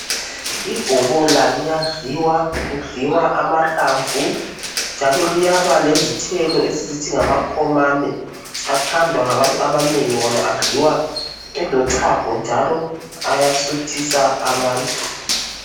Ibhobola liyadliwa kudliwa amahlamvu njalo liyaba lezithelo esizithi ngamakhomane, athandwa ngabantu abanengi wona adliwa elochago njalo ayasuthisa abantu.